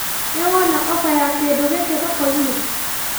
Nĩwona ofa ya kĩndũ gĩkĩ thokoinĩ?